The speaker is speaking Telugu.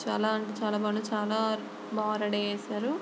చాలా అంటే చాలా చాలా బా రెడీ చేసారు.